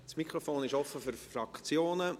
Das Mikrofon ist offen für die Fraktionen.